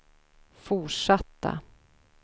fortsatta